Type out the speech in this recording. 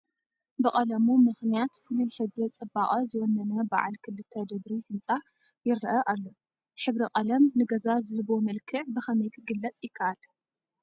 ብቐለሙ ምኽንያት ፍሉይ ሕብሪ ፅባቐ ዝወነነ በዓል ክልተ ደብሪ ህንፃ ይርአ ኣሎ፡፡ ሕብሪ ቀለም ንገዛ ዝህቦ መልክዕ ብኸመይ ክግለፅ ይከኣል?